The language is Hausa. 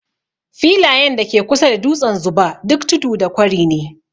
Filayen da ke kusa da dutsen Zuba, duk tudu da kwari ne.